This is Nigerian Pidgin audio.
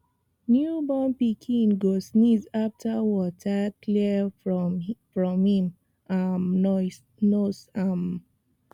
new born pikin go sneeze after water clear from im um nose um